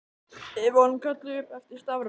Við vorum kölluð upp eftir stafrófsröð.